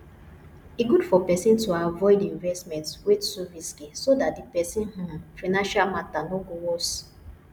e good for person to avoid investment wey too risky so dat di person um financial matter no go worst